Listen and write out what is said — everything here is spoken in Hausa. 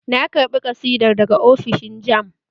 Na karɓa ƙasidar daga ofishin jamb